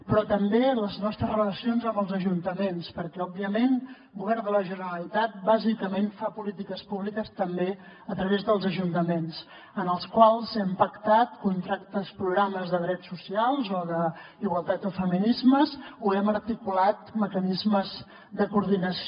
però també les nostres relacions amb els ajuntaments perquè òbviament el govern de la generalitat bàsicament fa polítiques públiques també a través dels ajuntaments amb els quals hem pactat contractes programes de drets socials o d’igualtat i feminismes o hem articulat mecanismes de coordinació